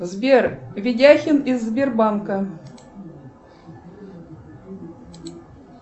сбер ведяхин из сбербанка